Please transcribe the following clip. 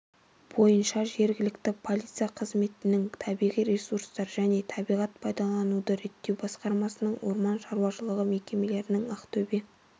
бойынша жергілікті полиция қызметінің табиғи ресурстар және табиғат пайдалануды реттеу басқармасының орман шаруашылығы мекемелерінің ақтөбе